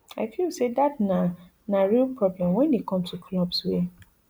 i feel say dat na na real problem wen e come to clubs wey